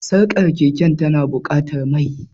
Sarkar keke tana buƙatar mai.